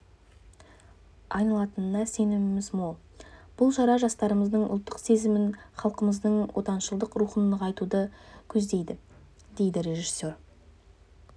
айналатынына сеніміміз мол бұл шара жастарымыздың ұлттық сезімін халқымыздың отаншылдық рухын нығайтуды көздейді дейді режиссер